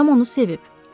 Atam onu sevib.